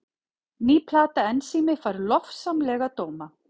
Ný plata Ensími fær lofsamlega dóma